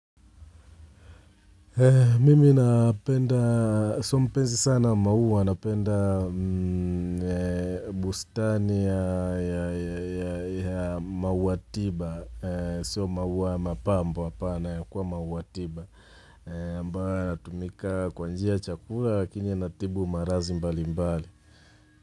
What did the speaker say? Mimi napenda, sio mpenzi sana wa maua, napenda bustani ya maua tiba, sio maua ya mapambo hapana ya kuwa maua tiba, ambayo yatumika kwa njia ya chakula lakini yanatibu maradhi mbalimbali.